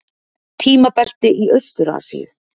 Tímabelti í Austur-Asíu.